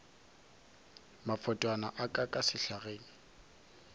mafotwana a ka ka sehlageng